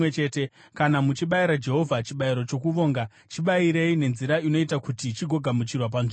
“Kana muchibayira Jehovha chibayiro chokuvonga, chibayirei nenzira inoita kuti chigogamuchirwa panzvimbo yenyu.